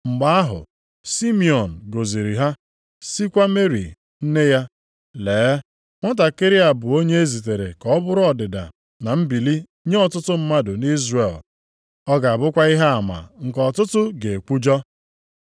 Mgbe ahụ, Simiọn gọziri ha, sịkwa Meri nne ya, Lee, “Nwatakịrị a bụ onye e zitere ka ọ bụrụ ọdịda na mbili nye ọtụtụ mmadụ nʼIzrel, ọ ga-abụkwa ihe ama nke ọtụtụ ga-ekwujọ.